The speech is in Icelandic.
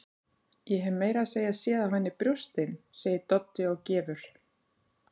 Ég hef meira að segja séð á henni brjóstin, segir Doddi og gefur